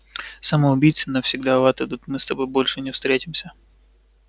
самоубийцы навсегда в ад идут мы с тобой больше не встретимся